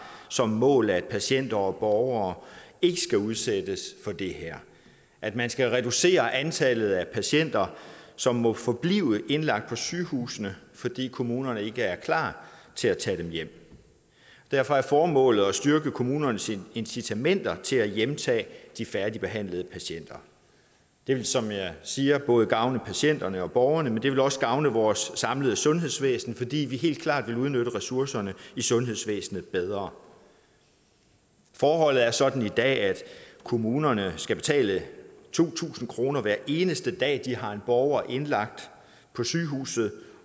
som mål at patienter og borgere ikke skal udsættes for det her at man skal reducere antallet af patienter som må forblive indlagt på sygehusene fordi kommunerne ikke er klar til at tage dem hjem derfor er formålet at styrke kommunernes incitamenter til at hjemtage de færdigbehandlede patienter det vil som jeg siger både gavne patienterne og borgerne men det vil også gavne vores samlede sundhedsvæsen fordi vi helt klart vil udnytte ressourcerne i sundhedsvæsenet bedre forholdet er sådan i dag at kommunerne skal betale to tusind kroner hver eneste dag de har en borger indlagt på sygehuset